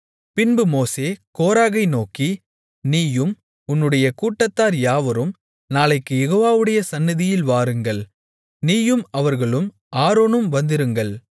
பின்பு மோசே கோராகை நோக்கி நீயும் உன்னுடைய கூட்டத்தார் யாவரும் நாளைக்குக் யெகோவாவுடைய சந்நிதியில் வாருங்கள் நீயும் அவர்களும் ஆரோனும் வந்திருங்கள்